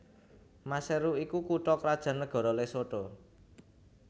Maseru iku kutha krajan nagara Lesotho